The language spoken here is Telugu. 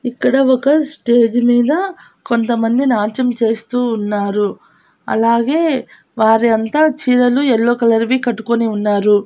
ఇక్కడ ఒక స్టేజి మీద కొంతమంది నాట్యం చేస్తూ ఉన్నారు అలాగే వారి అంతా చీరలు ఎల్లో కలర్ వి కట్టుకొని ఉన్నారు.